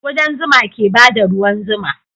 Kudan zuma ke bada ruwan zuma